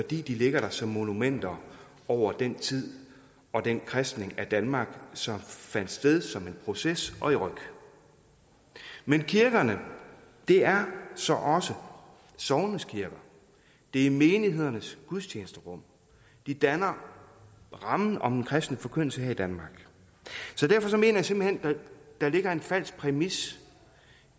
de ligger der som monumenter over den tid og den kristning af danmark som fandt sted som en proces og i ryk men kirkerne er så også sognenes kirker de er menighedernes gudstjenesterum de danner rammen om en kristen forkyndelse her i danmark så derfor mener jeg simpelt hen at der ligger en falsk præmis